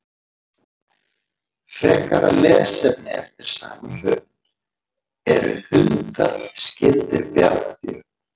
Frekara lesefni eftir sama höfund: Eru hundar skyldir bjarndýrum?